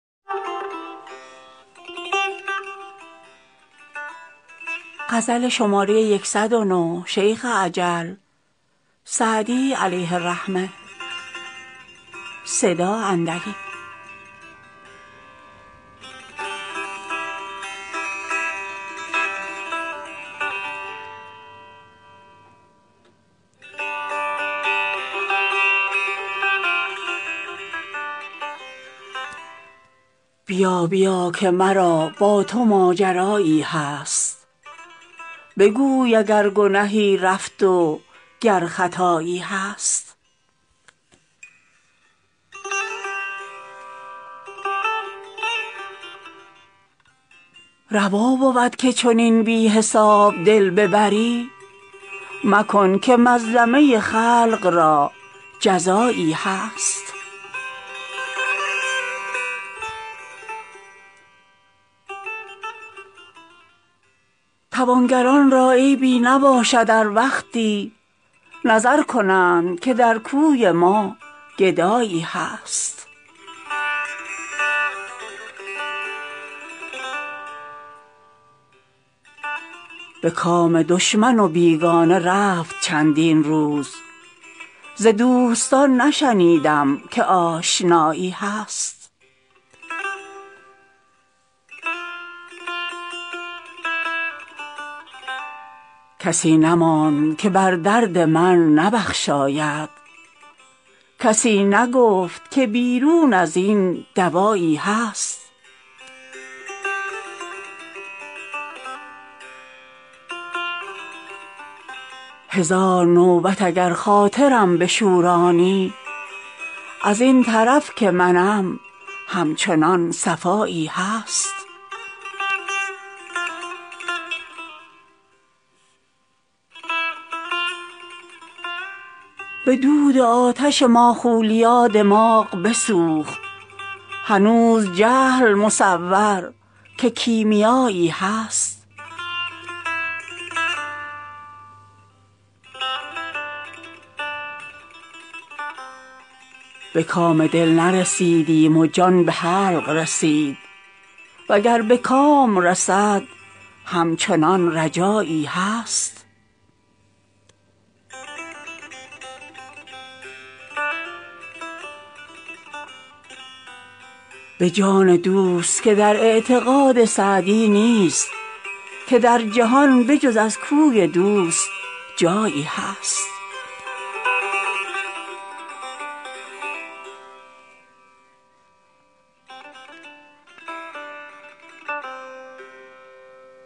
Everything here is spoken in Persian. بیا بیا که مرا با تو ماجرایی هست بگوی اگر گنهی رفت و گر خطایی هست روا بود که چنین بی حساب دل ببری مکن که مظلمه خلق را جزایی هست توانگران را عیبی نباشد ار وقتی نظر کنند که در کوی ما گدایی هست به کام دشمن و بیگانه رفت چندین روز ز دوستان نشنیدم که آشنایی هست کسی نماند که بر درد من نبخشاید کسی نگفت که بیرون از این دوایی هست هزار نوبت اگر خاطرم بشورانی از این طرف که منم همچنان صفایی هست به دود آتش ماخولیا دماغ بسوخت هنوز جهل مصور که کیمیایی هست به کام دل نرسیدیم و جان به حلق رسید و گر به کام رسد همچنان رجایی هست به جان دوست که در اعتقاد سعدی نیست که در جهان به جز از کوی دوست جایی هست